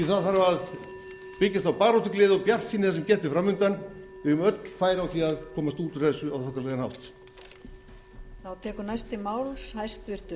það þarf að byggjast á baráttugleði og bjartsýni sem gert er fram undan við höfum öll færi á því að komast út úr þessu á þokkalegan hátt